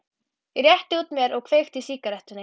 Ég rétti úr mér og kveiki í sígarettunni.